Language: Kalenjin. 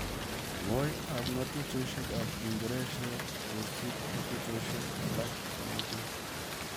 Ngooi ap ng'atuutoshek ap uingereseet koosuup ng'atuutoshek alak komugul